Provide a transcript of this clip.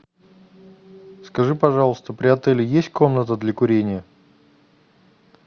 скажи пожалуйста при отеле есть комната для курения